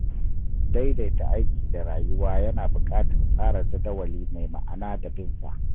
Daidaita aiki da rayuwa yana buƙatar tsara jadawali mai ma'ana da bin sa.